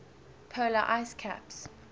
polar ice caps